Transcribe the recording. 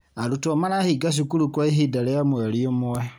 Arutwo marahinga cukuru kwa ihinda rĩa mweri ũmwe.